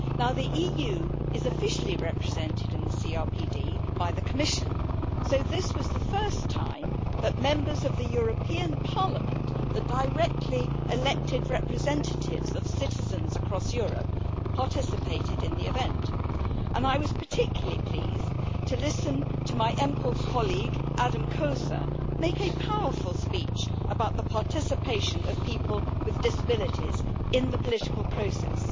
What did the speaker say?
The EU is officially represented in the CRPD by the Commission, so this was the first time that Members of the European Parliament, the directly elected representatives of citizens across Europe, participated in the event. I was particularly pleased to listen to my EMPL colleague, Ádám Kósa, make a powerful speech about the participation of people with disabilities in the political process.